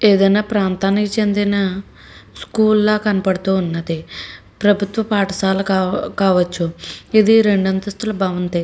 ఏదిఅయ్యిన ప్రాంతానికి చెందినా స్కూల్ ల కనపడుతున్నది ప్రభుత్వ పాఠశాల కావచ్చు ఇది రెండు అంతస్థుల భవంతి.